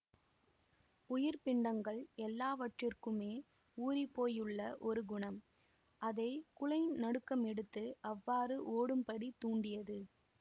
உயிர்ப் பிண்டங்கள் எல்லாவற்றிற்குமே ஊறிப்போயுள்ள ஒரு குணம் அதை குலை நடுக்கமெடுத்து அவ்வாறு ஓடும்படி தூண்டியது